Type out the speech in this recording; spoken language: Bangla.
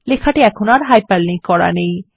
লেখাটি এখন আর হাইপারলিঙ্ক করা নেই